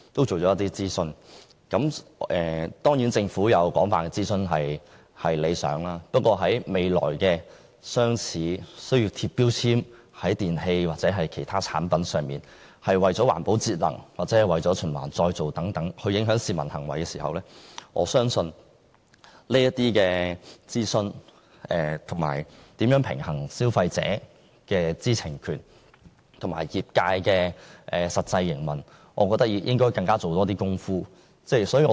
政府進行廣泛諮詢固然是好事，但未來如要在電器或其他產品上張貼標籤，從而影響市民在環保節能或循環再造等方面的行為，我認為政府須在諮詢中多做工夫，平衡消費者的知情權與業界的實際營運需要。